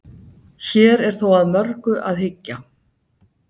Hér er þó að mörgu að hyggja.